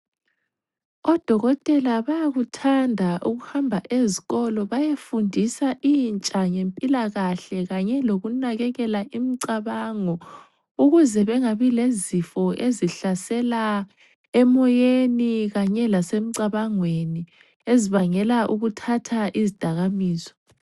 Odokotela bayakuthanda ukuhamba ezikolo bayefundisa intsha ngempilakahle kanye lokunakekela imicabango ukuze bengabi lezifo ezihlasela emoyeni kanye lasemcabangweni ezibangela ukuthatha izidakamizwa.